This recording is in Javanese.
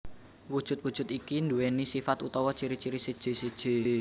Wujud wujud iki duwéni sifat utawa ciri ciri seje seje